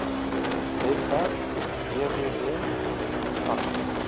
webwerf www sars